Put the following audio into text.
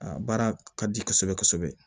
A baara ka di kosɛbɛ kosɛbɛ